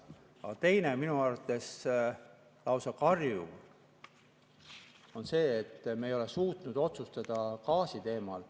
Aga teine minu arvates lausa karjuv on see, et me ei ole suutnud otsustada gaasi teemal.